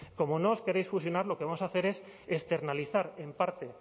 como no os queréis fusionar lo que vamos a hacer es externalizar en parte